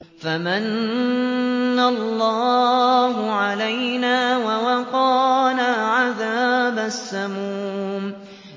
فَمَنَّ اللَّهُ عَلَيْنَا وَوَقَانَا عَذَابَ السَّمُومِ